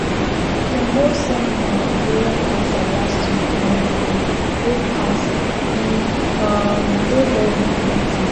dem hold seminar on ovarian cancer last week um wey pass e um dey very informative